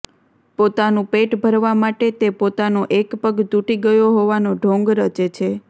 પોતાનું પેટ ભરવા માટે તે પોતાનો એક પગ તૂટી ગયો હોવાનો ઢોંગ રચે છે